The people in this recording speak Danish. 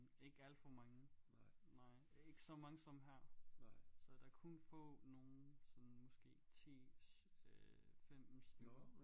Ikke alt for mange nej ikke så mange som her så der er kun få nogle sådan måske 10 øh 15 stykker